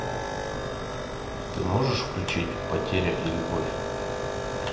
ты можешь включить потеря и любовь